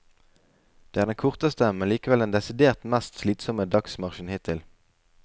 Det er den korteste, men likevel den desidert mest slitsomme dagsmarsjen hittil.